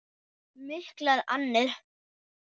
Miklar annir.